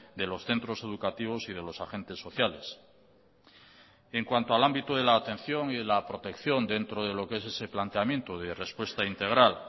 de los centros educativos y de los agentes sociales en cuanto al ámbito de la atención y de la protección dentro de lo qué es ese planteamiento de respuesta integral